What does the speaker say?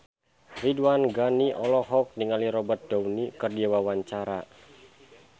Ridwan Ghani olohok ningali Robert Downey keur diwawancara